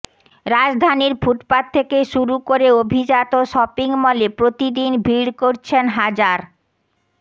রাজধানীর ফুটপাথ থেকে শুরু করে অভিজাত শপিং মলে প্রতিদিন ভিড় করছেন হাজার